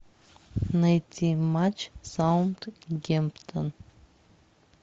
найти матч саутгемптон